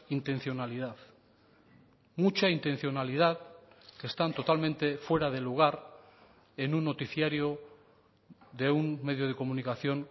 intencionalidad mucha intencionalidad que están totalmente fuera de lugar en un noticiario de un medio de comunicación